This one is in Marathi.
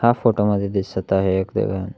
फोटो मध्ये दिसत आहे एक दुकान.